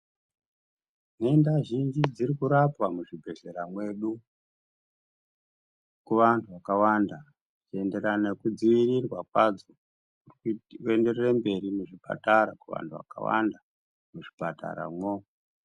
Nhenda zhinji dziri kurapwa muzvibhedhlera mwedu, kuvanhu vakawanda kuenderana nekudzivirirwa kwadzo, kuti kuenderere mberi muzvipatara kuvantu vakawanda muzvipataramwo.